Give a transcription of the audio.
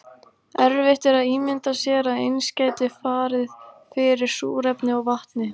Erfitt er að ímynda sér að eins gæti farið fyrir súrefni og vatni.